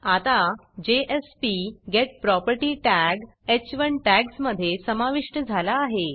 आता jspgetProperty tag ह1 टॅग्जमधे समाविष्ट झाला आहे